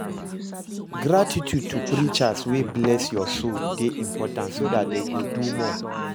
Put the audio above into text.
Gratitude to preachers wey bless your soul de important so that dem go do more